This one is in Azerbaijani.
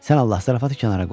Sən Allah zarafatı kənara qoy.